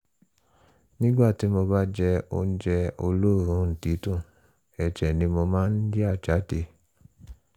nígbà tí mo bá jẹ oúnjẹ olóòórùn dídùn ẹ̀jẹ̀ ni mo máa ń yà jáde